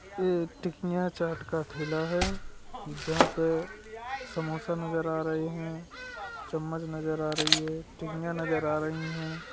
ए टिकिया चाट का ठेला है जहां पे समोसा नजर आ रहे हैं चम्मच नजर आ रही है टिंगिया नजर आ रही हैं।